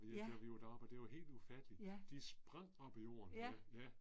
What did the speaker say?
Ja. Ja. Ja